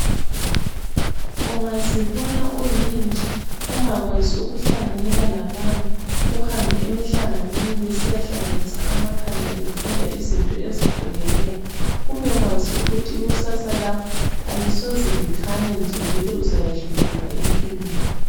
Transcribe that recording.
Ungazibona uyintsha ungakwazi ukuhlanganyela labanye, uhambe emihlanganweni lisiyahlanganisa amakhanda lifunda izinto ezihlukeneyo ubekwazi ukuthi ikusasa lakho alisoze likhanye nje vele uzayehluleka empilweni.